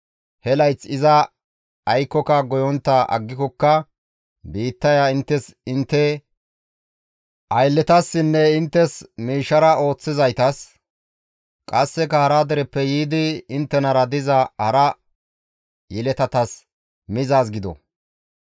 He layth iza aykkoka goyontta aggikokka biittaya inttes intte aylletasinne inttes miishshara ooththizaytas; qasseka hara dereppe yiidi inttenara diza hara yeletatas mizaaz gido.